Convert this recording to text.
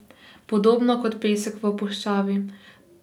Podobno kot pesek v puščavi.